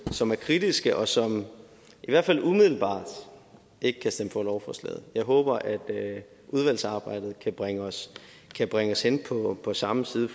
som er kritiske og som i hvert fald umiddelbart ikke kan stemme for lovforslaget jeg håber at udvalgsarbejdet kan bringe os bringe os hen på samme side